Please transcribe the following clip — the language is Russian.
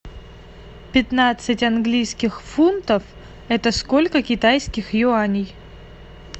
пятнадцать английских фунтов это сколько китайских юаней